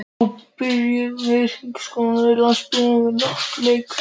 Nú byrjuðu hringingar þar sem konurnar á Landssímanum áttu leik.